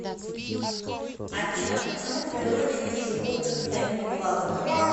афина почему в природе нет животных с одним глазом